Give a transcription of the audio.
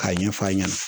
K'a ɲɛf'a ɲɛna